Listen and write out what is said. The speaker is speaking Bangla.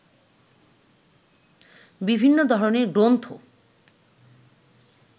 বিভিন্ন ধরনের গ্রন্থ